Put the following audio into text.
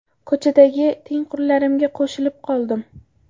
Ko‘chadagi tengqurlarimga qo‘shilib qoldim.